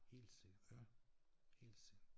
Helt sikkert helt sikkert